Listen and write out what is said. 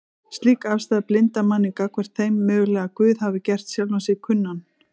Slík afstaða blindar manninn gagnvart þeim möguleika að Guð hafi gert sjálfan sig kunnan